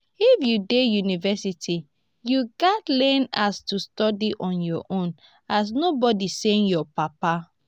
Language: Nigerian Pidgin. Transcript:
if u dey university u ghas learn as to study on ur own as nobody send ur papa.